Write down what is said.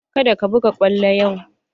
Ka da ka buga kwallo yau!